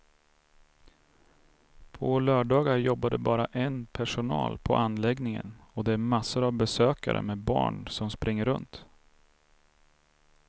På lördagar jobbar det bara en personal på anläggningen och det är massor av besökare med barn som springer runt.